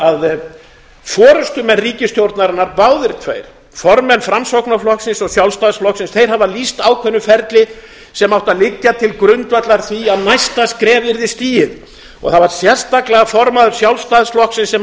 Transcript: að forustumenn ríkisstjórnarinnar báðir tveir formenn framsóknarflokksins og sjálfstæðisflokksins þeir hafa lýst ákveðnu ferli sem átti að liggja til grundvallar því að næsta skref yrði stigið og það var sérstaklega formaður sjálfstæðisflokksins sem